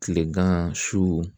Kilegan su